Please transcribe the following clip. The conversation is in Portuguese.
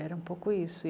Era um pouco isso.